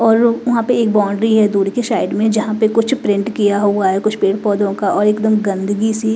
और वहां पे एक बाउंड्री है दूर की साइड में जहां पे कुछ प्रिंट किया हुआ है कुछ पेड़-पौधों का और एकदम गंदगी सी--